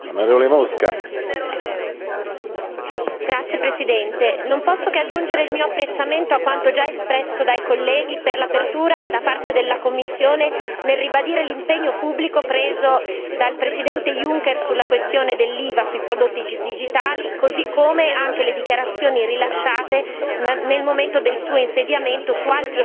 Signor Presidente, onorevoli colleghi, non posso che aggiungere il mio apprezzamento a quanto già espresso dai colleghi per l'apertura da parte della Commissione nel ribadire l'impegno pubblico preso dal Presidente Juncker sulla questione dell'IVA sui prodotti digitali, così come le dichiarazioni rilasciate nel momento del suo insediamento su altri ostacoli alla creazione del mercato unico digitale.